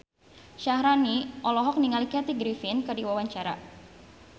Syaharani olohok ningali Kathy Griffin keur diwawancara